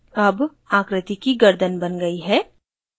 अब आकृति की गर्दन now गयी है